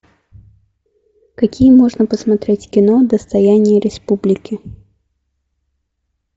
какие можно посмотреть кино достояние республики